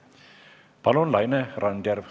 Palun, Laine Randjärv!